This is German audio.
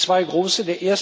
Es gibt zwei große.